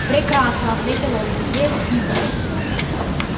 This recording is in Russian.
прекрасно ответил он где сиди